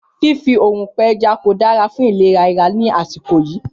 Fífi òrùn gbé ẹja kò dára fún ìlera ara ní àsìkò yìí